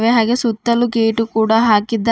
ಹಾಗೆ ಸುತ್ತಲು ಗೇಟು ಕೂಡ ಹಾಕಿದ್ದಾ--